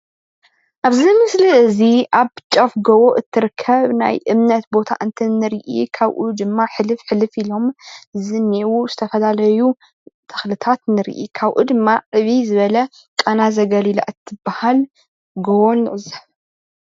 ኣብዚ ምስሊ እዚ ኣብ ጫፍ ጎቦ እትርከብ ናይ እምነት ቦታ እንትንርኢ ካብኡ ድማ ሕልፍ ሕልፍ ኢሎም ዝኒሀው ዝተፈላለዩ ተክልታት ንርኢ፣ ካብኡ ድማ ዕብይ ዝበለ ቃና ዘገሊላ እትበሃል ጎቦ ንዕዘብ፡፡